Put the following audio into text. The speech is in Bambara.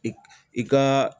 I i ka